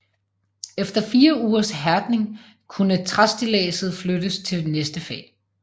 Efter fire ugers hærdning kunne træstilladset flyttes til næste fag